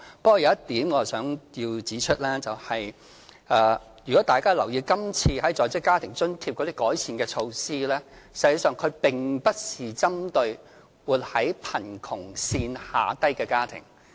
不過，有一點我想指出，如果大家有留意今次在職家庭津貼的改善措施，實際上並不是針對活在貧窮線下的家庭。